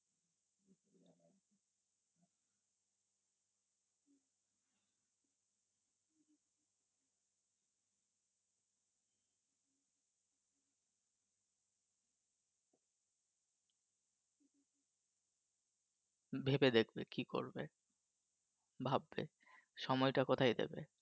ভেবে দেখবে কি করবে, ভাববে সময়টা কোথায় দেবে।